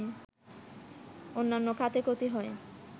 অন্যান্য খাতে ক্ষতি হয়